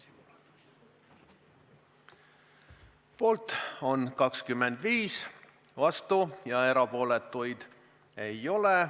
Hääletustulemused Poolt on 25, vastuolijaid ega erapooletuid ei ole.